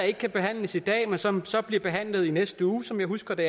ikke kan behandles i dag men som så bliver behandlet i næste uge som jeg husker det